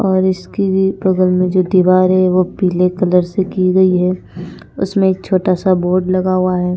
और इसकी बगल में जो दीवार है वो पीले कलर से की गई हैं उसमें एक छोटासा बोर्ड लगा हुआ है।